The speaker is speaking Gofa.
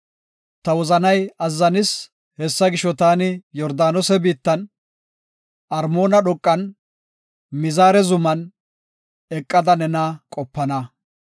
Ta wozanay azzanis; hessa gisho taani Yordaanose biittan, Armoona dhoqan, Mizaare zuman, eqada nena qopana.